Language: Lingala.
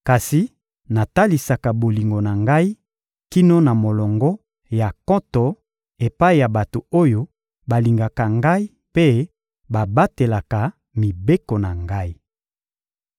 Kasi natalisaka bolingo na Ngai kino na molongo ya nkoto epai ya bato oyo balingaka Ngai mpe babatelaka mibeko na Ngai.